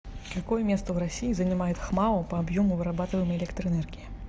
какое место в россии занимает хмао по объему вырабатываемой электроэнергии